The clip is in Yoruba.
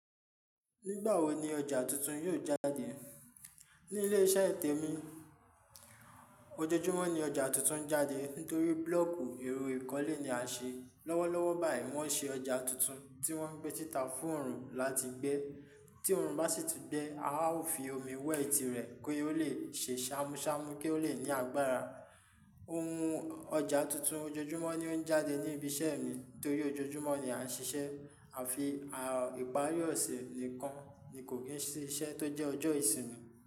Nígbà wo ni ọjà tuntun yóò jáde? Ní ilé-iṣẹ́ ètè mi, ojoojúmọ́ ni ọjà tuntun ń jáde nítorí búlọ́ọ̀kù iru ìkọ́lé ni a ṣe. Lọ́wọ́lọ́wọ́ báyìí, wọ́n ń ṣe ọjà tuntun tí wọ́n ń gbé títa fún oòrùn láti gbé. Tí oòrùn bá sì tún gbé, a ó fi omi wẹ̀ ti rẹ̀ kí ó le ṣe ṣámúṣámú kí ó le ní agbára. Ohun ọjà tuntun ojoojúmọ́ ni ó ń jáde ní ibi iṣẹ́ mi torí ojoojúmọ́ ni a ń ṣiṣẹ́. A fi ìparí ọ̀sẹ̀ nìkan ni kò kí n sí iṣẹ́ tó jẹ́ ọjọ́ ìsinmi.